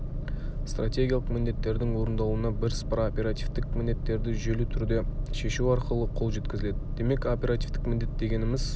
стратегиялық міндеттердің орындалуына бірсыпыра оперативтік міндеттерді жүйелі түрде шешу арқылы қол жеткізіледі демек оперативтік міндет дегеніміз